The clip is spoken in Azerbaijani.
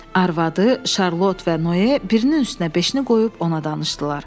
Arvadı, Şarlot və Noe birinin üstünə beşini qoyub ona danışdılar.